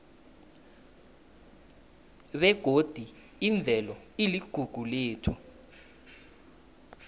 begodi imvelo iligugu lethu